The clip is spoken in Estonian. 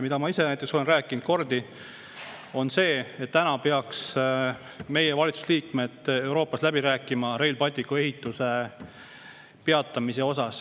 Ma ise näiteks olen rääkinud palju kordi, et meie valitsuse liikmed peaksid Euroopas läbi rääkima Rail Balticu ehituse peatamise üle.